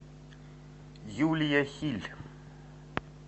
юлия хиль